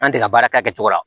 An tɛ ka baara kɛ a kɛcogo la